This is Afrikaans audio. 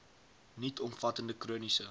nuut omvattende chroniese